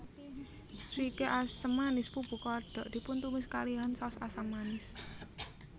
Swike asam manis pupu kodok dipuntumis kalihan saos asam manis